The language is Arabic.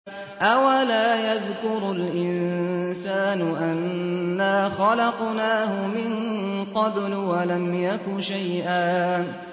أَوَلَا يَذْكُرُ الْإِنسَانُ أَنَّا خَلَقْنَاهُ مِن قَبْلُ وَلَمْ يَكُ شَيْئًا